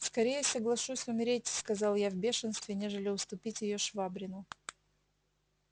скорее соглашусь умереть сказал я в бешенстве нежели уступить её швабрину